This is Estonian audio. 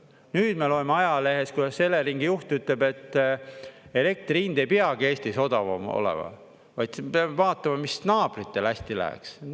Nüüd me loeme ajalehest, kuidas Eleringi juht ütleb, et elektri hind ei peagi Eestis odavam olema, vaid me peame vaatama, mis naabritel hästi läheks.